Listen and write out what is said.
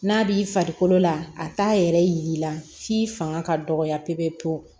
N'a b'i farikolo la a t'a yɛrɛ yir'i la f'i fanga ka dɔgɔya pewu pewu